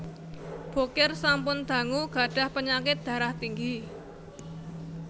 Bokir sampun dangu gadhah penyakit darah tinggi